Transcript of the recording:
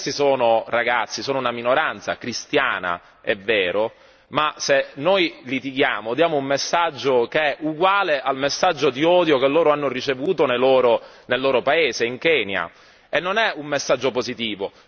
Questi sono ragazzi, sono una minoranza cristiana è vero, ma se noi litighiamo diamo un messaggio che è uguale al messaggio di odio che loro hanno ricevuto nel loro paese in Kenya e non è un messaggio positivo.